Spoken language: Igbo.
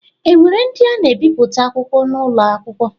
E nwere ndi na-ebipụta akwụkwọ n’ụlọ akwụkwọ?